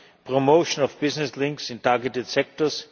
young promoting business links in targeted sectors